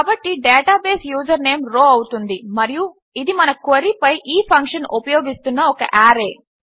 కాబట్టి database user name row అవుతుంది మరియు ఇది మన క్వెరీ పై ఈ ఫంక్షన్ ఉపయోగిస్తున్న ఒక ఆర్రే